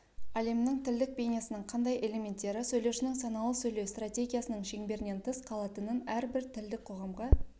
әлемнің тілдік бейнесінің қандай элементтері сөйлеушінің саналы сөйлеу стратегиясының шеңберінен тыс қалатынын әрбір тілдік қоғамға